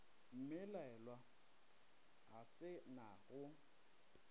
mmelaelwa a se na go